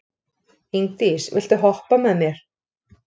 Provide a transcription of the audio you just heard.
Ingdís, viltu hoppa með mér?